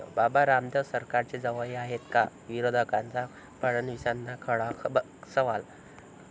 बाबा रामदेव सरकारचे जावई आहेत का?, विरोधकांचा फडणवीसांना खडा सवाल